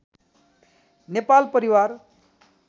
नेपाल परिवार